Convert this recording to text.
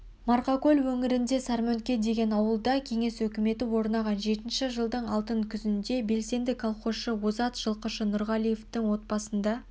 марқакөл өңіріндегі сармөнке деген ауылда қеңес өкіметі орнаған жетінші жылдың алтын күзінде белсенді колхозшы озат жылқышы нұрғалидың отбасында